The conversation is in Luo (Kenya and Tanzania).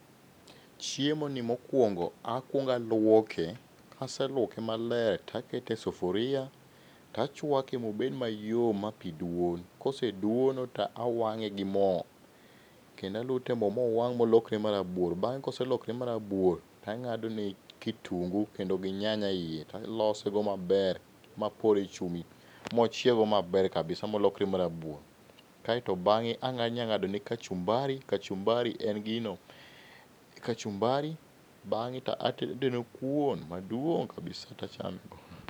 Chiemoni mokuongo akuongo aluoke, kase luoke maler to akete e sufuria to achuake mobed mayom mapi dwon. Koseduono to awang'e gi mo. Kendo alute e mo mowang'e molokre marabuor. Bang' koselokre marabuor to ang'adone kitungu kendo gi nyanya eiye, to alosego maber ma apore chumbi mochieg go maber kabisa molokre marabuor. Kae to bang'e anyalo ng'adone kachumbari. Kachumbari en gino ma kachumbari bang'e to atedo kuon maduong' kabisa to achame.